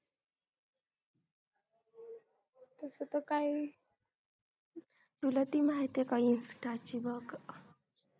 तसं तर काही तुला ती माहिती आहे का insta ची बग